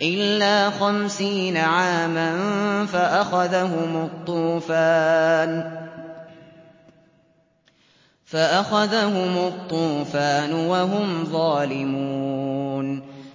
إِلَّا خَمْسِينَ عَامًا فَأَخَذَهُمُ الطُّوفَانُ وَهُمْ ظَالِمُونَ